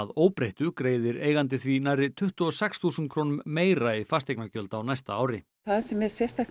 óbreyttu greiðir eigandi því nærri tuttugu og sex þúsund krónum meira í fasteignagjöld á næsta ári það sem er sérstakt